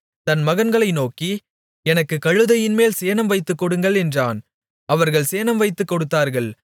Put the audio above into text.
தன் மகன்களை நோக்கி எனக்குக் கழுதையின்மேல் சேணம் வைத்துக் கொடுங்கள் என்றான் அவர்கள் சேணம் வைத்துக் கொடுத்தார்கள்